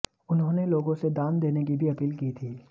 उन्होंने लोगों से दान देने की भी अपील की थी